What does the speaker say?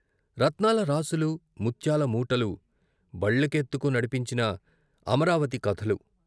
రత్నాల రాసులూ, ముత్యాల మూటలూ బళ్ళకెత్తుకు నడిపించిన అమరావతి కథలు